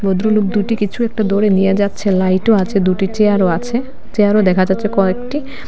ভদ্রলোক দুটি কিছু একটা দরে নিয়ে যাচ্ছে লাইটও আছে দুটি চেয়ারও আছে চেয়ারও দেখা যাচ্ছে কয়েকটি।